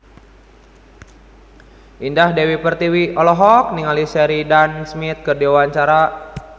Indah Dewi Pertiwi olohok ningali Sheridan Smith keur diwawancara